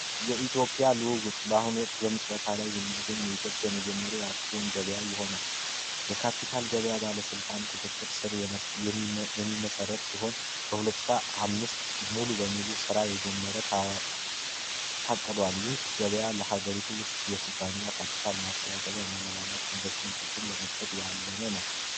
የኢትዮጵያ ልውውጥ በአሁን ወቅት በምስረታ ላይ የሚገኝ የኢትዮጵያ የመጀመሪያ አክሲዮን ገበያ ይሆናል የካፒታል ገበያ ባለሥልጣን ቁጥጥር ስር የሚመሠረት ሲሆን በ2005 ሙሉ በሙሉ ሥራ የጀመረ ታቅዷል። ይህ ገበያ ለሀገሪቱ ውስጥ የኩባንያ ካፒታል ማሰባሳያቢያ እና ለባላፍ ኢንቨስትመንት ለመክፈት ያለመ ነው።